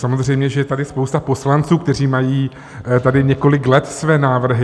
Samozřejmě že je tady spousta poslanců, kteří mají tady několik let své návrhy.